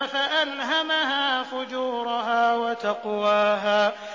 فَأَلْهَمَهَا فُجُورَهَا وَتَقْوَاهَا